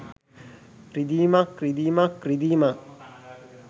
රිදීමක් රිදීමක් රිදීමක්